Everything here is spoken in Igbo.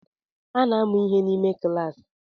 A na-amụ ihe n’ime kilas